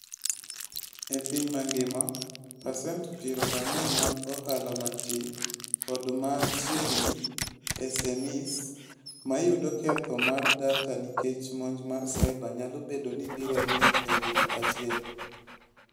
E piny mangima, pasent 40 mag Ohala Matin kod ma Chiegni (SMEs) ma yudo ketho mar data nikech monj mar cyber nyalo bedo ni biro rumo e higa achiel.